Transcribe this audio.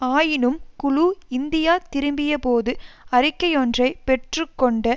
ஆயினும் குழு இந்தியா திரும்பிய போது அறிக்கையொன்றை பெற்று கொண்ட